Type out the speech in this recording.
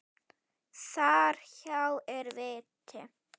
Þar hjá er viti.